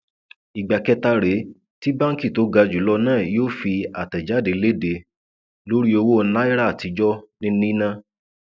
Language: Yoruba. ìgbà kẹta rèé tí báǹkì tó ga jù lọ náà yóò fi àtẹjáde lédè lórí owó náírà àtijọ ní níná